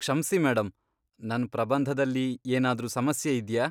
ಕ್ಷಮ್ಸಿ ಮೇಡಂ, ನನ್ ಪ್ರಬಂಧದಲ್ಲಿ ಏನಾದ್ರೂ ಸಮಸ್ಯೆ ಇದ್ಯಾ?